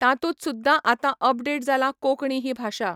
तातूंत सुद्दां आतां अपडेट जाला कोंकणी ही भाशा